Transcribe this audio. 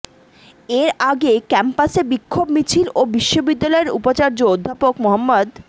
এর আগে ক্যাম্পাসে বিক্ষোভ মিছিল ও বিশ্ববিদ্যালয়ের উপাচার্য অধ্যাপক মো